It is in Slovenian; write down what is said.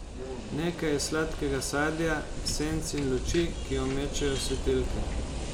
Nekaj iz sladkega sadja, senc in luči, ki jo mečejo svetilke.